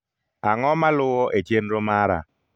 Ang'o maluwo e chenro mara